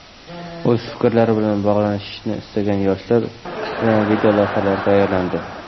O‘z fikrlari bilan bo‘lishishni istagan yoshlar bilan videolavhalar tayyorlandi.